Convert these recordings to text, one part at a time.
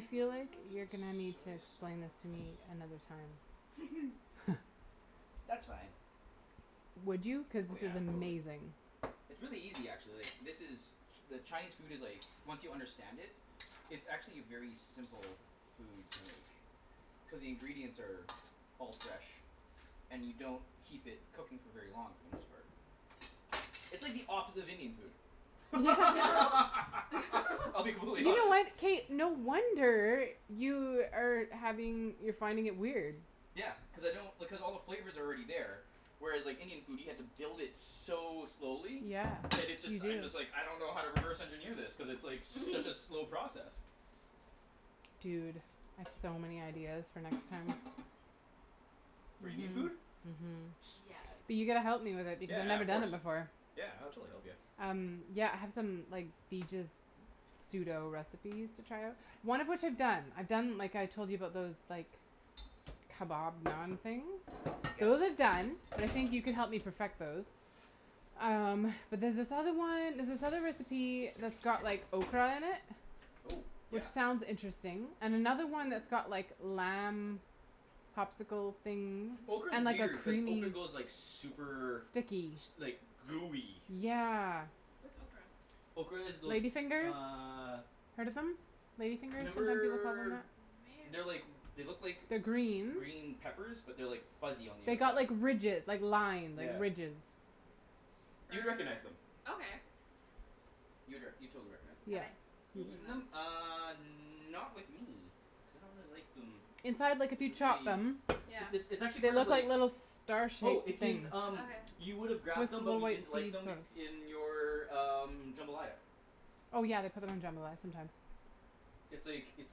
feel like you're Some gonna need to soy explain this to me sauce. another time. That's fine. Would you? Cuz Oh this is yeah, totally. amazing. It's really easy actually. This is, ch- the Chinese food is like, once you understand it, it's actually a very simple food to make. Cuz the ingredients are all fresh and you don't keep it cooking for very long for the most part. It's like the opposite of Indian food. I'll be You brutally know honest. what? K no wonder you are having, you're finding it weird. Yeah. Cuz I don't, because all the flavor's already there. Whereas like Indian food, you have to build it so slowly Yeah, that it you just, I do. just like, I don't know how to reverse engineer this cuz it's such a slow process. Dude, I've so many ideas for next time. For Indian Mhm, food? mhm. Sweet. Yes. But you gotta help me with it because I've Yeah, never of done it course. before. Yeah I'll totally help you. Um yeah, I have some like, the just pseudo recipes to try out. One of which I've done. I've done like I told you about those, like, kebab naan things. Those are Yeah. done. I think you can help me perfect those. Um, but there's this other one, there's this other recipe that's got like ocra in it Oh! Which Yeah. sounds interesting. And another one that's got like lamb popsicle things Ocra is and like a weird, cuz creamy ocra goes like super Sticky S- like gooey. Yeah. What's ocra? Ocra is those, Lady fingers? uh Heard of them? Lady fingers Remember they're like, they like look like They're green. green peppers but they're like fuzzy on the They got outside. like ridge- like line, Yeah. ridges. You'd recognize them. Okay. You'd rec- you'd totally recognize them. Have Yeah. I eaten Eaten them? them? Uh, not with me cuz I don't really like them. Inside, like if you chop them Yeah. It's, it's actually They look like little star Oh, shaped it's things in um Okay. You With would've grabbed them but little you white didn't like seed sort them of i- in your um, jambalaya. Oh yeah, they put 'em in jambalaya sometimes. It's like, it's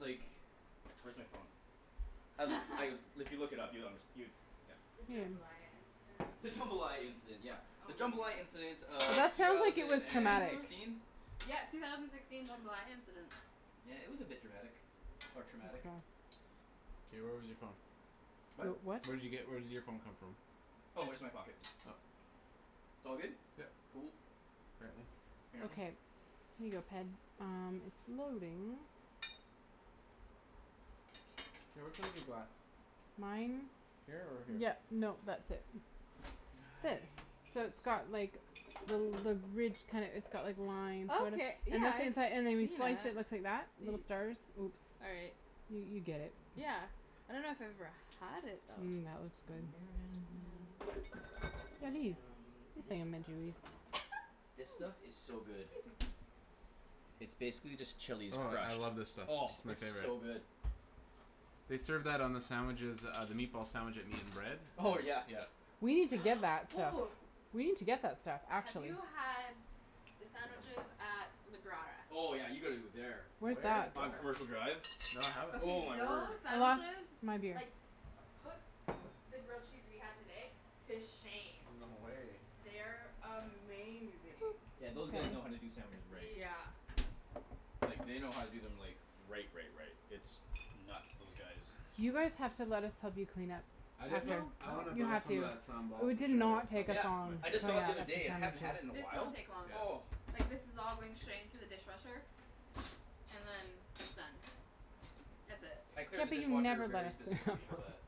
like, where's my phone? Um like, if you look it up you'll unders- you, yeah The Hmm. jambalaya incident. The jambalaya incident, yeah. The jambalaya incident of That two sounds like it was thousand and traumatic. sixteen? Yeah, two thousand sixteen jambalaya incident. Yeah it was a bit dramatic. Or traumatic. Ocra. Hey where was your phone? What? What? Where did you get, where did your phone come from? Oh, just my pocket. Oh. It's all good? Yeah. Cool. Apparently. Yeah. Okay, here you go Ped. Um, it's loading. K, which one's your glass? Mine? Here or here? Yeah, no that's it. Now This. I So need it's got some like the l- the ridge kinda, it's got like lines sort of. Okay, And yeah that's the I've seen inside, and when you slice it it it. looks like that. Little stars. Oops. All right. You, you get it. Yeah. I dunno if I've ever had it though. Mmm, that looks good. and this stuff. Ooh, This stuff is so good. excuse me. It's basically just chili Oh, I scratch. love this stuff. Oh, It's my it's favorite. so good. They served that on the sandwiches uh, the meatball sandwich at Meat and Bread. Oh yeah. Yeah. We need to get that stuff. Ooh. We need to get that stuff. Have Actually. you had the sandwiches at the Grotta? Oh yeah, you gotta go there. Where's Where that? is on that? Commercial Drive. Oh Okay my word. those I lost sandwiches my beer. like, put the grill cheese we had today to shame. No way. They're amazing. Yeah those guys know how to do sandwiches right. Yeah. Like, they know how to do them like, right right right. It's nuts. Those guys You guys have to go let us help you clean up. I definitely, No. I wanna You buy have some of to. that sambal We for did sure. That not stuff take is this my Yeah. long I the just saw it the favorite. other day. I hadn't had it in a sandwiches. This while. won't take long. Oh. Yeah. Like this is all going straight into the dishwasher, and then it's done. That's it. I clear Yeah the but you dishwasher never let very us clean up. specifically for that.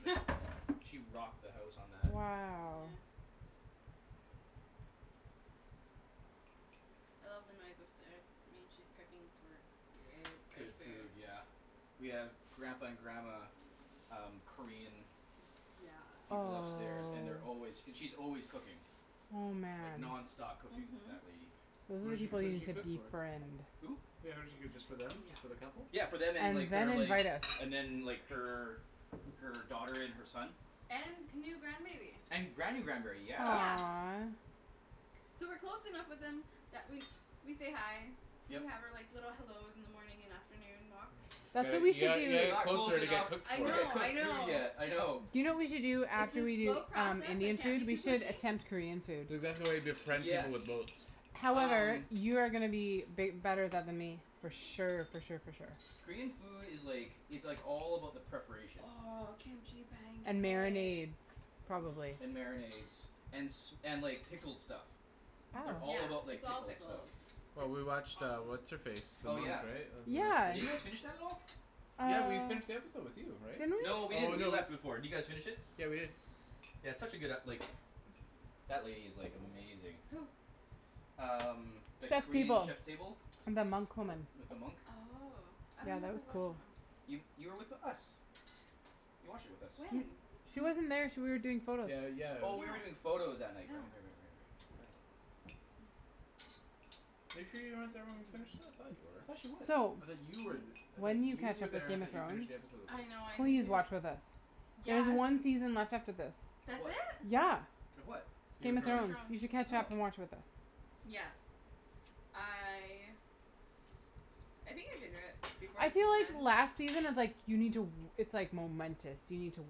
Wow. Yeah. I left the knife upstairs. I mean she's cooking gr- good, good Good food. food, yeah. We have Grampa and Grandma um, Korean Yes. people Oh upstairs and they're s- always, and she's always cooking. oh Like man. nonstop cooking, Mhm. that lady. Those Who are does she, people who you does she need to cook for? befriend. Who? Yeah does she cook just for them, Yeah. just for the couple? Yeah for them and And like, then her like, invite us. and then like her, her daughter and her son. And new grandbaby. And Granny grand berry, yeah. Yeah. Aw. So we're close enough with them that we, we say hi. We Yep. have our like, little hellos in the morning and afternoon walks. You That's what got- we you should gotta, you gotta do. We're get not close closer to get enough to cooked I for get know, you. I cooked food know. yet, I know. Do you know what we should do It's after a we do slow um, process. I Indian can't food? be We too should pushy. attempt Korean food. That's exactly why you befriend people with Yes. boats. However, Um. you are gonna be bi- better than th- me. For sure for sure for sure. Korean food is like, it's like all about the preparation. Oh, kimchi And pancakes. marinades, probably. And marinades. And s- and like pickled stuff. They Yeah, all about Oh. like it's all pickled pickles. stuff. Well It's we watched uh, awesome. what's her face? Oh yeah. Yeah. Did you guys finish that at all? Yeah we Uh finished the episode with you, right? Didn't No we? we Oh didn't, we no. left before. Did you guys finish it? Yeah we did. Yeah it's such a good ep- like that lady is like, amazing. Who? Um, that Chef's Korean Table. Chef Table. And the monk woman. With the monk. Oh. I Yeah, dunno that if I was watched cool. that one. You, you were with us. You watched it with us. When? She wasn't there. She wa- you were doing photos. Yeah, Yeah. yeah. Oh you were doing photos that night. No. Right right right right right. I forgot about that. Are you sure you weren't there when we finished that? I thought I thought she you were. was. So. I thought you were th- I thought When you you catch were up there. with I Game of thought you finished Thrones the episode with us. I know. Please watch with us. I There's Yes! one season left after this. Of That's what? it? Yeah! Of what? Game Game of Game of of Thrones. Thrones. Thrones. You should catch up and Oh. watch with us. Yes. I I think I can do it before I the feel season like ends. last season is like, you need to w- it's like momentous. You need to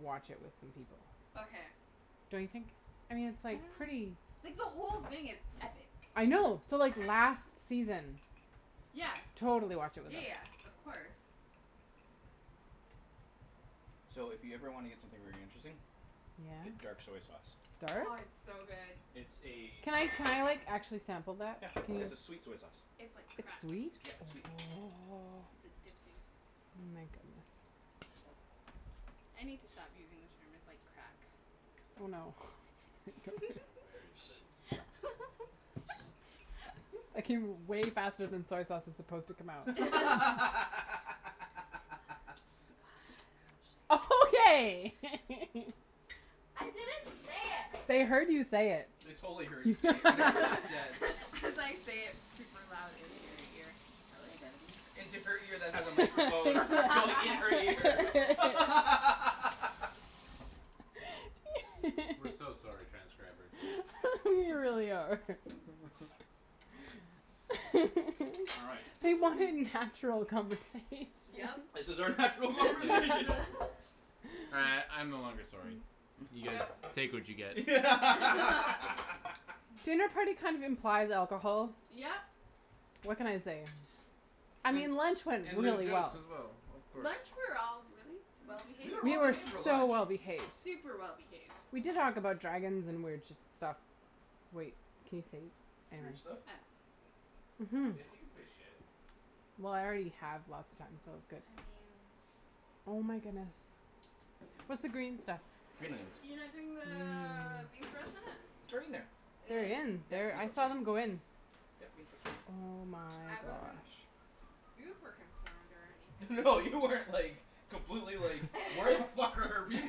watch it with some people. Okay. Don't you think? I mean it's I like, don't know. pretty Like the whole thing is epic. I know. So like last season Yes. Totally watch it with Yeah us. yes, of course. So if you ever wanna get something very interesting Get Yeah? dark soy sauce. Oh Dark? it's so good. It's a Can I, can I like actually sample that? Yeah. Can you It's a sweet soy sauce. It's like It's crack. sweet? Yeah, it's sweet. It's addicting. Oh my goodness. I need to stop using the term "It's like crack". Oh, no. I'm very Shh excited. That came way faster than soy sauce is supposed to come out. Okay! I didn't say it! They heard you say it. They totally heard you say it, whatever you just said. As I say it super loud into your ear. I like it. Into her ear that has a microphone going in her ear. We're so sorry, transcribers. We really are. All right. We want natural conversation. Yep. This is our natural Yeah. conversation. Uh I'm no longer sorry. You guys No. take what you get. Dinner party kind of implies alcohol. Yep! What can I say? I mean lunch went And loo really well. as well, of course. Lunch we were all really well We behaved. were We well were behaved for so lunch. well behaved. Super well behaved. We did talk about dragons and weird shi- stuff. Wait, can you say Weird stuff? Mhm. Yes you can say "shit". Well I already have lots of times, so good. I mean Oh my goodness. What's the green stuff? You're not doing the Mmm. beef? It's right in there. It They're is? in there. I saw them go in. Oh my I wasn't gosh. super concerned or anything. No you weren't like, completely like, "Where the fuck are our bean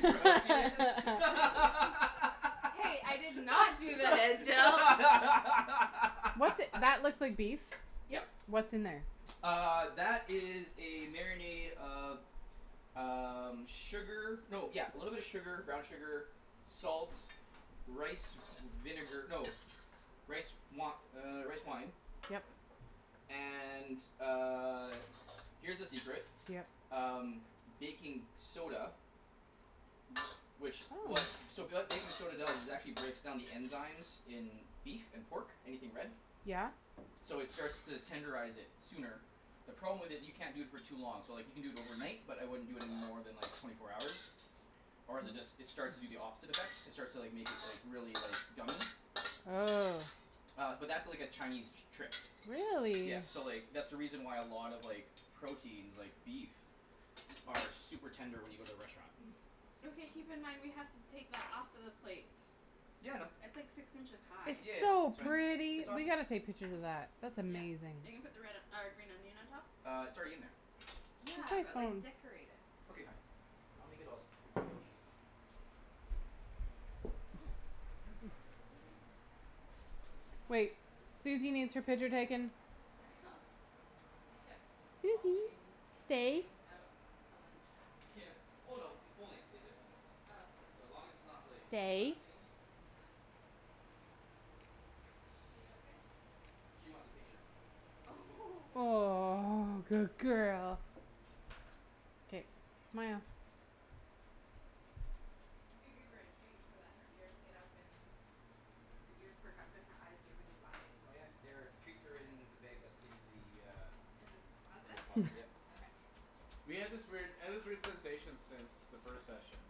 sprouts, Ian?" Hey, I did not do What's that looks like beef. Yep. Yeah. What's in there? Uh, that is a marinade of um, sugar. No yeah, little bit of sugar, brown sugar, salts, rice with s- vinegar. No. Rice wi- er, rice wine Yep. And uh, here's the secret. Yep. Um, baking soda. Which w- so Ooh. what baking soda does is actually breaks down the enzymes in beef and pork, anything red. Yeah. So it starts to tenderize it sooner. The problem with it, you can't do it for too long. So like you can do it overnight but I wouldn't it more than like twenty four hours, or is it d- it starts to do the opposite effect. It starts to like, make it like, really like, gummy. Ugh. Uh but that's like a Chinese t- trick. Really? Yeah. So like, that's the reason why a lot of like proteins, like beef, are super tender when you go to the restaurant. Okay keep in mind we have to take that off of the plate. Yeah I know. It's like six inches high. It's Yeah, so that's right. pretty! It's We awesome. gotta take pictures of that. That's Yeah. amazing. Are you gonna put the red, uh green onion on top? Uh, it's already in there. Where's Yeah, my but like phone? decorate it. Okay fine, I'll make it all spoof and chichi. I know. Wait, Suzy needs her picture taken. we kept all Suzy, names and stay. things out at lunch? Yeah. Well no, it- full names. They said full names. Oh okay. So as long as it's not like, Stay. last names. She okay? She wants a picture. Aw, good girl. K, smile. You could give her a treat so that her ears get up and, her ears perk up and her eyes get really wide. Oh yeah. They're, treats are in the bag that's in the, uh In the In the closet? closet, yep. Okay. We had this weird, I had this weird sensation since the first session.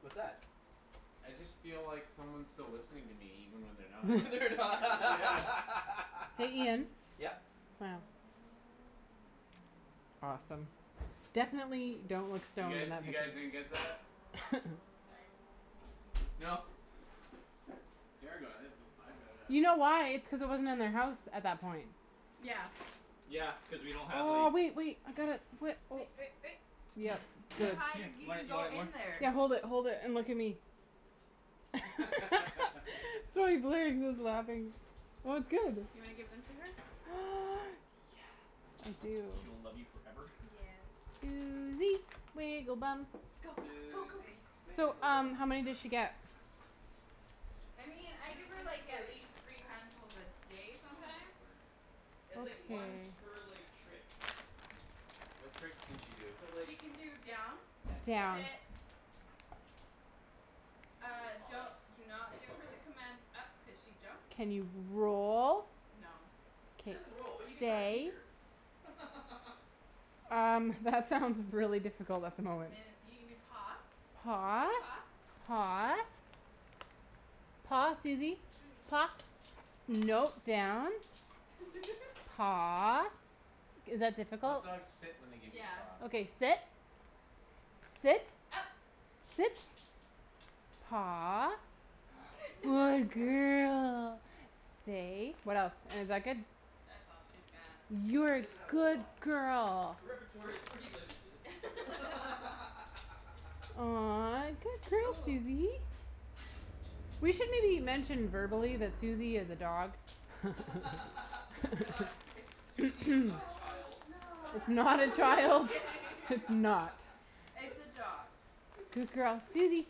What's that? I just feel like someone's still listening to me even when they're not. They're Yeah. Hey Ian? n- Yep? Smile. Awesome. Definitely don't look. You guys, you guys didn't get that? Ah! Sorry. No. Kara got it. With, I got it, I You don't know. know why? It's cuz it wasn't in their house at that point. Yeah. Yeah, cuz we don't have Oh, like- wait wait, I got it. Wai- oh. Yep, Here, Too here, good. high to here. g- Do g- I, do go I in there. Yeah. Hold it hold it, and look at me. laughing. Well it's good. Do you wanna give them to her? Yes, I do. She will love you forever. Yes. Suzy, wiggle bum. Go, go go Suzy, go. So wiggle um, bum. how many Go does get she 'em. get? I mean, I give her, Usually it's like, at like least three handfuls a day Oh, my sometimes. word. It's, like, once per, like, trick. What tricks can she do? So like, She can do down, and Down. sit. pause. She can do a Ah, don't, pause. do not give her the command "up" cuz she jumps. Can you roll? No. She K. doesn't roll, but you can try and teach Stay? her. Um, that sounds really difficult at the moment. And you can do paw, Paw. shake paw. Paw. Paw, Susie. Susie. Paw, no, down. Paw. Is that Most difficult? dogs sit when they give you a Yeah. paw. Okay, sit. Sit. Up. Sit. Paw. Good girl. Stay. What else? And is that good? That's all she's got. Yeah, You're she a doesn't have a whole good lot. girl. Her repertoire is pretty limited. Aw, good girl, Ooh. Susie. We should maybe mention verbally that Susie is a dog. We're not i- Susie is not a Yeah, child. it's It's not. not a Just child; kidding. it's not. It's a dog. Good girl. Susie,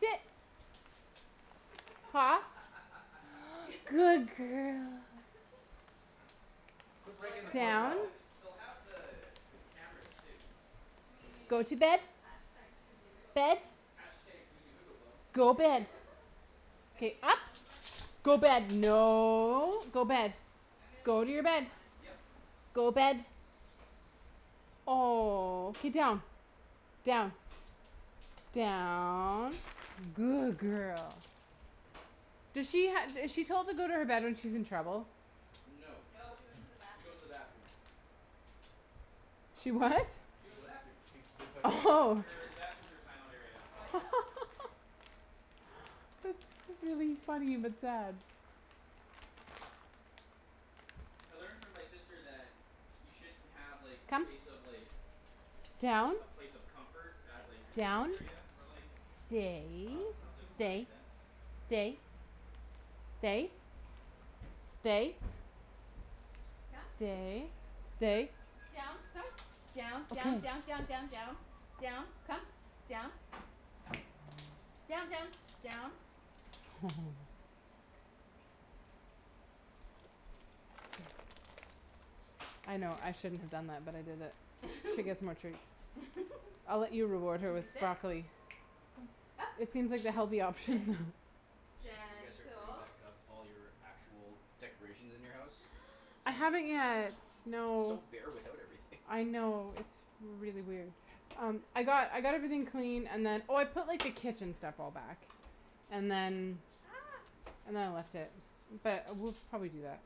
sit. Paw, good girl. Quit Well, I breaking the guess they'll fourth Down. have wall. the, they'll have the, the cameras too. I Go mean to bed. Bed. #Susiewigglebomb. #Susiewigglebum. Go bed. Are you K, doing up. all the Go Yep. bed, no, go Mkay, bed. I'm gonna Go take to your bed. one. Yep. Go bed. Oh. K, Down. Down. Down. Good girl. do she ha- is she told to go to her bed when she's in trouble? No, No, she she goes goes to to the bathroom. the bathroom. She what? She She goes to the goe- bathroom. she, they put her in the bathroom. Oh. Her, the bathroom's her timeout area. Oh, yeah. That's really funny but sad. I learned from my sister that you shouldn't have, like, a Come. place of, like Down. a place of comfort as, like, your timeout Down. area for, like Stay. dogs and I was like, "Oh that makes Stay, sense." stay. Stay. Stay. Come. Stay, stay. Down, come. Down. Down, Okay. down, down, down, down. Down. Come. Down. Down, down. Down. I know. I shouldn't have done that, but I did it. She gets more treats. I'll let you reward her with Susie, . sit. Up, It seems like the healthy sit, option. You guys are putting gentle. back up all your actual decorations in your house? I Some Good haven't yet, girl. It's so no. bare without everything. I know. It's really weird. Um, I got, I got everything cleaned and then, oh, I put, like, the kitchen stuff all back. And then And then I left it. But we'll probably do that.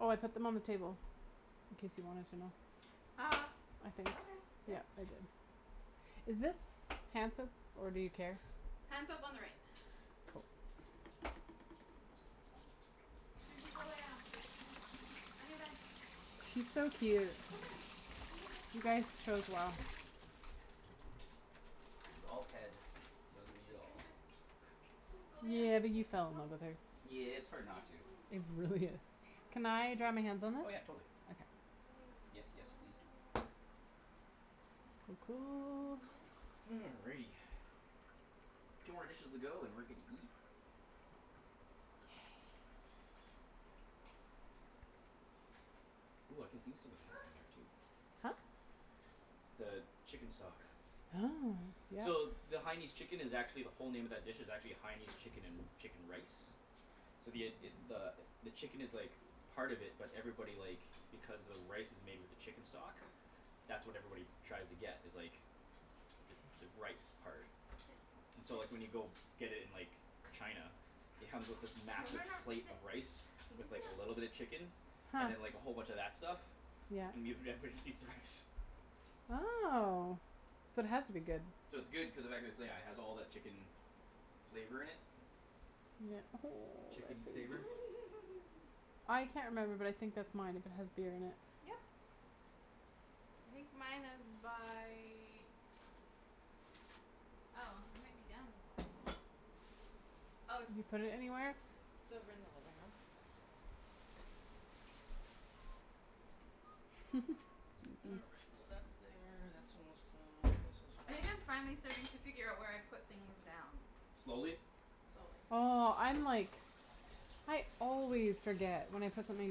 Oh, I put them on the table, in case you wanted to know. Ah, I think. okay, yeah. Yeah, I did. Is this hand soap or do you care? Hand soap on the right. Cool. Susie, go lay down. On your bed. She's so cute. Come on, on your bed, You come on, guys chose well. come here, baby. On. It was all Ped. Wasn't me at On your all. bed. Come on, go lay down, Yeah, but hey, you fell in go. love with her. Come on, Yeah, it's hard come on, not to. come on, It come on. really is. Come on. Can I dry my hands go. on this? Oh Okay yeah, totally. There you Yes, yes, please do. go. Good girl. Ooh. Yeah, you're such a Alrighty. good girl. Two more dishes to go, and we're gonna eat. Ooh, I can do some of that in there too. Huh? The chicken stock. Oh, yeah. So the Haianese chicken is actually the whole name of that dish is actually a Haianese chicken and, chicken rice. So the id- id- the, the chicken is like part of it but everybody, like because the rice is made with the chicken stock that's what everybody tries to get is like the, the rice part. Sit. So, Sit. like, when you go get it in, like China it comes with this No, massive no, no, plate sit. of rice with like a little bit of chicken Huh. and then, like, a whole bunch of that stuff Yeah. and give, everybody just eats the rice. Oh, so it has to be good. So it's good cuz of the fact it's, yeah, it has all that chicken flavor in it. Yeah, oh, Chickeny flavor. I can't remember but I think that's mine if it has beer in it Yep. I think mine is by Oh, I might be done. Oh, it's Did you put it anywhere? over in the living room. All right, so that's there; that's almost done. And this is all I think I'm finally starting to figure out where I put things down. Slowly? Slowly. Oh, I'm like I always forget when I put something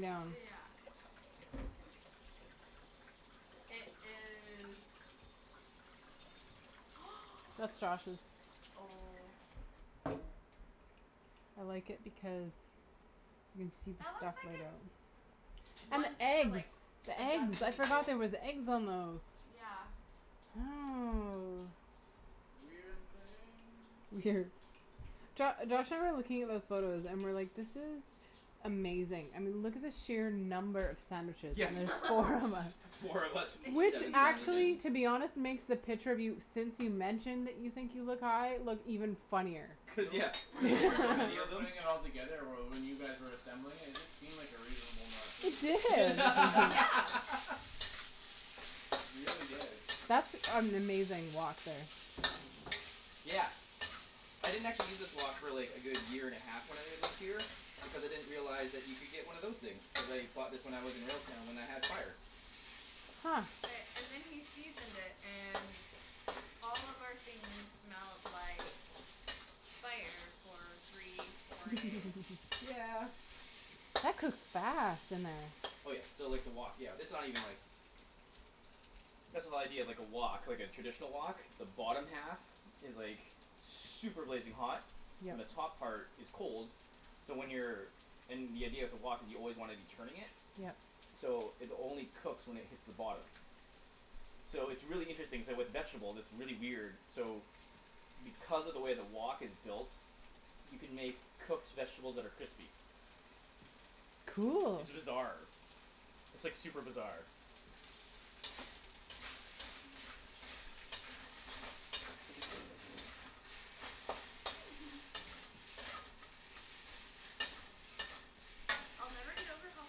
down. Yeah. It is That's Josh's. Oh. I like it because you can see That the looks out. like it's And the one for, eggs. like, The a dozen eggs, I forgot people. there was eggs on those. Yeah. Oh. Jo- Josh, I remember looking at those photos and we're like, "This is amazing." I mean look at the sheer number of sandwiches, Yeah. and there's four of us. S- four of us with Which seven actually sandwiches. to be honest makes the picture of you since you mentioned that you think you look high look even funnier. Do you Cuz know yeah, what's cuz you have weird, so when we many were of them. putting it all together or well, when you guys were assembling it, it just seemed like a reasonable amount of It food. did. Yeah. Yeah. It really did. That's an amazing wok there. Yeah. I didn't actually use this wok, really, a good year and half when I lived here because I didn't realize that you could get one of those things. Cuz I bought this when I was in Railtown when I had fire. Huh. Okay, and then he seasoned it and all of our things smelled like fire for three, four days. That cooks fast in there. Oh, yeah, so, like, the wok, yeah, this is not even like That's the whole idea of, like, a wok, like, a traditional wok. The bottom half is like super blazing hot Yeah. and the top part is cold so when you're and the idea of the wok is you always wanna be turning it Yep. so it only cooks when it hits the bottom. So it's really interesting, k, with vegetables it's really weird, so because of the way the wok is built you can make cooked vegetables that are crispy. Cool. It's bizarre. It's, like, super bizarre. I'll never get over how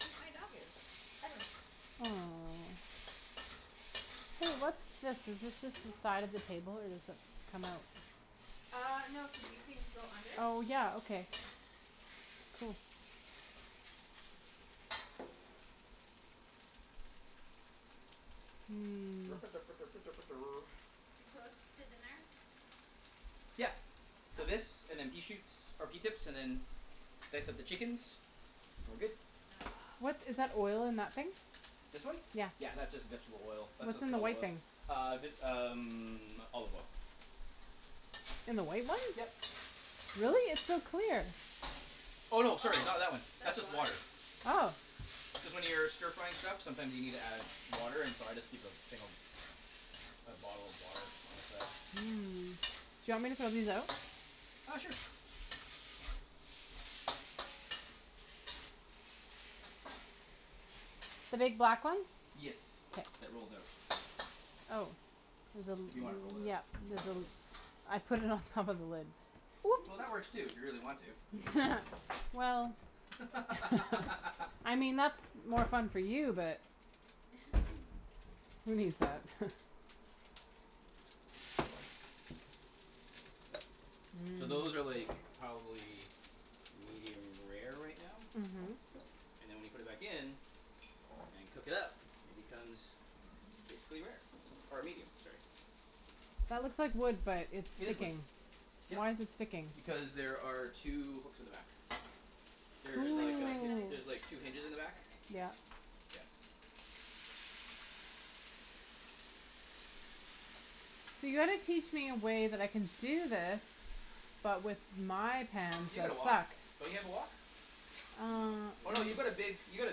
cute my dog is, ever. Aw. Hey, what's this? Is this just the side of the table or does it come out? Ah, no, cuz these things go under. Oh, yeah, okay. Yeah. Hmm. We close to dinner? Yeah. So Okay. this, and then pea shoots, or pea tips, and then then I set the chickens and we're good. Ah. What's, is that oil in that thing? This one? Yeah, that's just vegetable oil. That's What's just in the canola white oil. thing? Ah vit- um olive oil. In the white one? Yep. Really? It's so clear. Oh, no, sorry, not Oh, that one. That's that's just water. water. Oh. Cuz when you're stir frying stuff sometimes you need to add water, and so I just keep a thing of a bottle of water on the side. Mm. Do you want me to throw these out? Ah, sure. The big black ones? Yes, K. that rolls out. Oh. There's a If li- you wanna roll it out, Yeah, you can there's a roll it l- out. I put it on top of the lid. Whoops. Well, that works too, if you really want to. Well. I mean, that's more fun for you, but. So those are, like, probably medium rare right now. Mhm. And then when you put it back in and cook it up it becomes basically rare. Or medium, sorry. That looks like wood but it's It is wood, sticking. yep. Why's it sticking? Because there are two hooks in the back. There's There's, like like, a a hi- magnetic There's like strip Cool. two in the hinges in back the of back. it, I think. Yeah. Yeah. So you gotta teach me a way that I can do this but with my pans You got that a wok; suck. don't you have a wok? No, Um. we Oh, don't. no, you've got a big, you got a